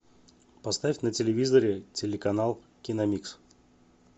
поставь на телевизоре телеканал киномикс